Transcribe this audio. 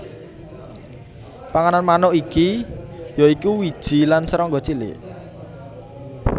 Panganan manuk iki ya iku wiji lan serangga cilik